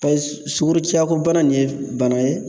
Pɛz sugorociya ko bana nin ye bana ye